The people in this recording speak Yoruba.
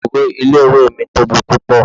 Ìloro ilé ìwé mi tóbi púpọ̀.